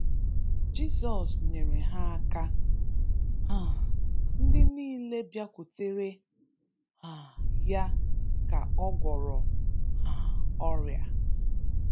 Jizọs nyere ha aka. um Ndị niile bịakwutere um ya ka a gwọrọ um ọrịa.